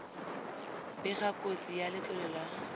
bega kotsi ya letlole la